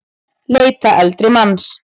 Leita eldri manns